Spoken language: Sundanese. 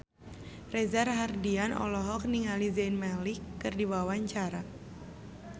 Reza Rahardian olohok ningali Zayn Malik keur diwawancara